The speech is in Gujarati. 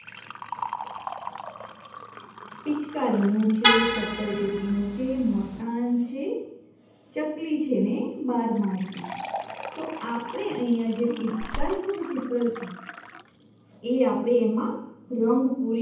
પિચકારીનું છે સત્તરટેટીનું છે મકાન છે ચકલી છે ને બાર માસી તો આપણે અહિયાં જે પિચકારીનું છે જે ચિત્ર છે એ આપણે એમાં રંગ પુરી છું.